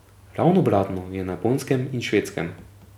Ravno obratno je na Japonskem in Švedskem.